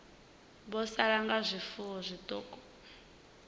vho sala nga zwifuwo zwiṱuku